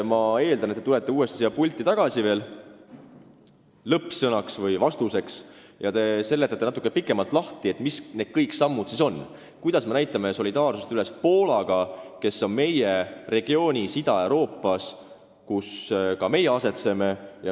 Ma eeldan, et te tulete lõppsõnaks siia pulti veel tagasi ja seletate natuke pikemalt, mis sammud need siis ikkagi on – kuidas me näitame üles solidaarsust Poolaga, kes kuulub koos meiega Ida-Euroopa regiooni.